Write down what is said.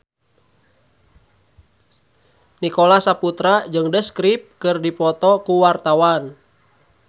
Nicholas Saputra jeung The Script keur dipoto ku wartawan